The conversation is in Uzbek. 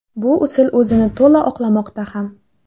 Bu usul o‘zini to‘la oqlamoqda ham.